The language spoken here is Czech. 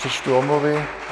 Přečtu omluvy.